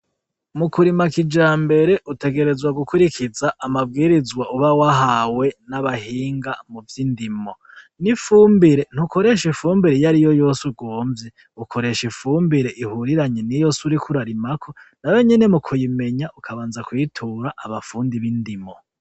Mukurima kijambere utegerezwa gukurikiza amabwirizwa uba wahawe n'abahinga muvy'indimo ,n'ifumbire ntukoresha iyariyo yose ugomvye ntaho nyene mukuyimenya ukabanza ukayitura abahinga b'indimo.